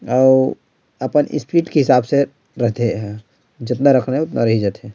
अऊ आपन स्ट्रीट के हिसाब से रते ऐह। जितना रखना है उतना रही जाते --